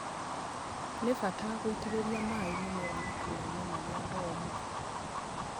Nĩ bata guitĩrĩria maĩ mĩmera matũrainĩ marĩa momũ